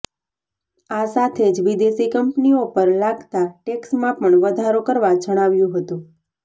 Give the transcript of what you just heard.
આ સાથે જ વિદેશી કંપનીઓ પર લાગતા ટેક્સમાં પણ વધારો કરવા જણાવ્યું હતું